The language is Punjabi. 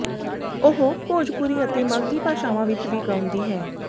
ਉਹ ਭੋਜਪੁਰੀ ਅਤੇ ਮਾਘੀ ਭਾਸ਼ਾਵਾਂ ਵਿੱਚ ਵੀ ਗਾਉਂਦੀ ਹੈ